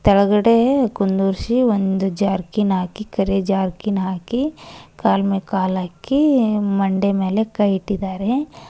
ಕೆಳಗಡೆ ಕುಂದುರ್ಸಿ ಒಂದು ಜರ್ಕಿನ್ ಹಾಕಿ ಕರಿ ಜರ್ಕಿನ್ ಹಾಕಿ ಕಾಲ್ ಮೇಲ್ ಕಾಲ್ ಹಾಕಿ ಮಂಡೆ ಮೇಲೆ ಕೈ ಇಟ್ಟಿದಾರೆ.